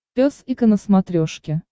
пес и ко на смотрешке